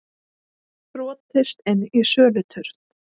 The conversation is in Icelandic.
Brotist inn í söluturn